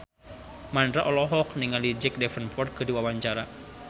Mandra olohok ningali Jack Davenport keur diwawancara